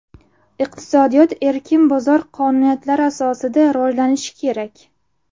Iqtisodiyot erkin bozor qonuniyatlari asosida rivojlanishi kerak.